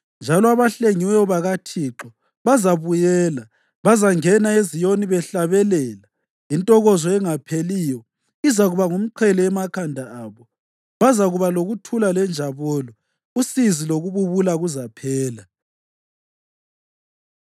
njalo labahlengiweyo bakaThixo bazabuyela. Bazangena eZiyoni behlabelela, intokozo engapheliyo izakuba ngumqhele emakhanda abo. Bazakuba lokuthula lenjabulo, usizi lokububula kuzaphela.